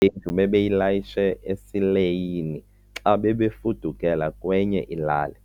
yendlu bebeyilayishe esileyini xa bebefudukela kwenye ilali.